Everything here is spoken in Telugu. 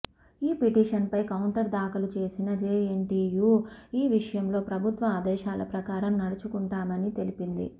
ఈ పిటిషన్ పై కౌంటర్ ధాఖలు చేసిన జేఎన్టీయూ ఈ విషయంలో ప్రభుత్వ ఆదేశాల ప్రకారం నడుచుకుంటామని తెలిపింది